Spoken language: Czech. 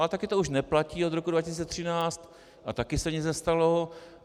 Ale taky to už platí od roku 2013 a taky se nic nestalo.